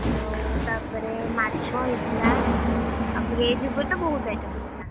ଆଉ ତାପରେ ମାଛ ହେଇଥିଲା, ଆଉ veg ଉପରେ ତ ବହୁତ item ହେଇଥିଲ।